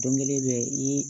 Don kelen bɛ i